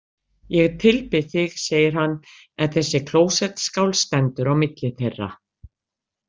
Ég tilbið þig, segir hann, en þessi klósettskál stendur á milli þeirra.